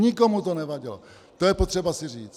Nikomu to nevadilo, to je potřeba si říct.